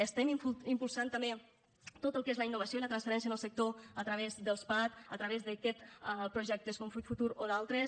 estem impulsant també tot el que és la innovació i la transferència en el sector a través dels pac a través d’aquests projectes com fruit futur o d’altres